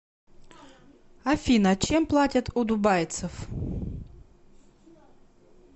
афина чем платят у дубайцев